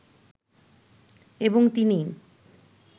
এবং তিনিই